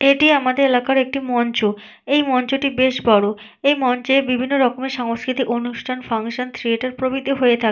এটি আমাদের এলাকার একটি মঞ্চ। এই মঞ্চটি বেশ বড়। এই মঞ্চে বিভিন্ন রকমের সাংস্কৃতিক অনুষ্ঠান ফাংশন থিয়েটার প্রভৃতি হয়ে থাকে।